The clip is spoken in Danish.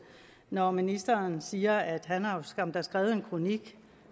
når ministeren siger at han skam har skrevet en kronik